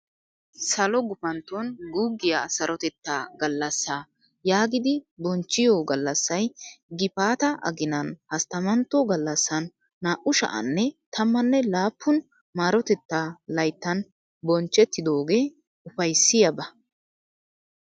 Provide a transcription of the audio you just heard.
Salo gufantto guuggiya saroteta gallassa yaagidi bonchchiyo gallasay gifaata aginan hasttamantto gallassan naa"u sha'anne tammanne laappun maarotetaa layittan bochchettidoogee ufayissiyaaba.